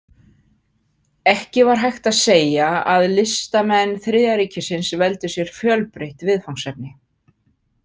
Ekki var hægt að segja að listamenn Þriðja ríkisins veldu sér fjölbreytt viðfangsefni.